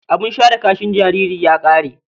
Abin share kashin jaririn ya ƙare.